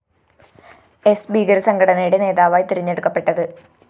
സ്‌ ഭീകരസംഘടനയുടെ നേതാവായി തിരഞ്ഞെടുക്കപ്പെട്ടത്